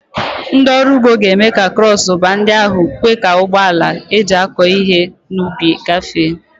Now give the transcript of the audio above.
Ndị ọrụ ugbo ga-eme ka krọs baa ndị ahụ kwe ka ụgbọ ala eji akọ ihe n'ubi gafee.